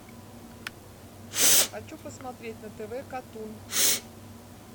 хочу посмотреть на тв катун